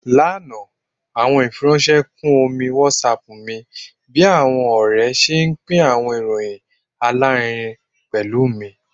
Lana, awọn ifiranṣẹ kun omi WhatsApp mi bi awọn ọrẹ ṣe pin awọn iroyin alarinrin pẹlu mi